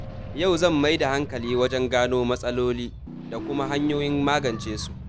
Yau zan mai da hankali wajen gano matsaloli da kuma hanyoyin magance su.